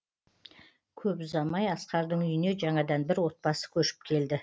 көп ұзамай асқардың үйіне жаңадан бір отбасы көшіп келді